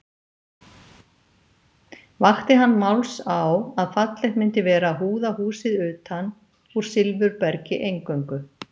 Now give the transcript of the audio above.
Vakti hann máls á að fallegt myndi vera að húða húsið utan úr silfurbergi eingöngu.